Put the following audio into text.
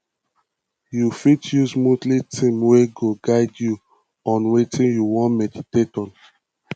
you fit use monthly theme wey go guide you on wetin you wan meditate on